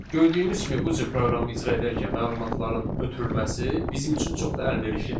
Gördüyümüz kimi bu cür proqramı icra edərkən məlumatların ötürülməsi bizim üçün çox da əlverişli deyil.